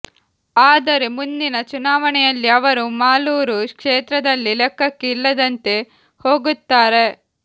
ಆದರೆ ಮುಂದಿನ ಚುನಾವಣೆಯಲ್ಲಿ ಅವರು ಮಾಲೂರು ಕ್ಷೇತ್ರದಲ್ಲಿ ಲೆಕ್ಕಕ್ಕೆ ಇಲ್ಲದಂತೆ ಹೋಗುತ್ತಾರೆ